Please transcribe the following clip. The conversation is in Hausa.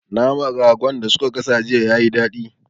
Naman Ragon da su ka gasa jiya yayi dadi